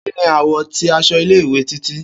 Kini àwọ̀ ti aṣọ ile-iwe Titi?